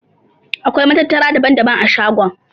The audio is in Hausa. Akwai matattara daban-daban a shagon.